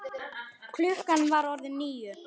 Klukkan var orðin níu.